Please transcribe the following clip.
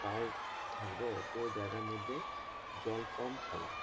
Power থাকবে অতো জায়গার মধ্যে জল কম খাবে।